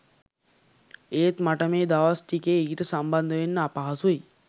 එත් මට මේ දවස් ටිකේ ඊට සම්බන්ධ වෙන්න අපහසුයි